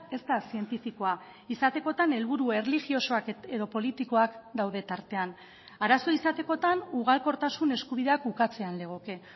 ez da zientifikoa izatekotan helburu erlijiosoak edo politikoak daude tartean arazoa izatekotan ugalkortasun eskubideak ukatzean legoke